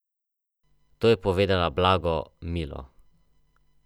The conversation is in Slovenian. Poleg treh vdov so iz države izgnali še sedem otrok in štiri vnuke.